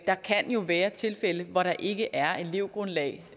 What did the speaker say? der kan jo være tilfælde hvor der ikke er et elevgrundlag